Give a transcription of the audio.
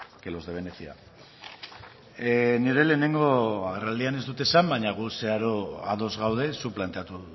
que los de venecia nire lehenengo agerraldian ez dut esan baina gu zeharo ados gaude zuk planteatu